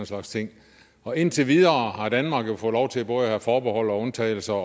slags ting og indtil videre har danmark jo fået lov til både at have forbehold og undtagelser og